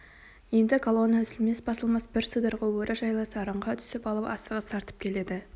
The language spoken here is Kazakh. енді колонна үзілмес-басылмас бір сыдырғы өрі жайлы сарынға түсіп алып асығыс тартып келеді